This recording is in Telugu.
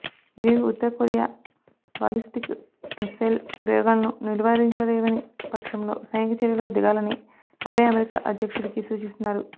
ఇవేవి ఉత్తరకొరియా బాలిస్టిక్ మిస్సైల్ ప్రయోగాలను నిలువారించలేని పక్షంలో సైనిక చర్యకు దిగాలని అబే అమెరికా అధ్యక్షుడికి సూచిస్తున్నారు